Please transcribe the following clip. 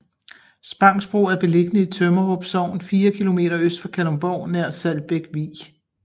Spangsbro er beliggende i Tømmerup Sogn fire kilometer øst for Kalundborg nær Saltbæk Vig